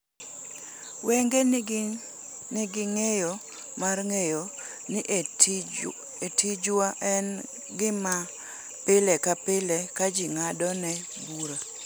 ‘Wenge nigi ng’eyo mar ng’eyo ni e tijwa en gima pile ka pile ka ji ng’adone bura.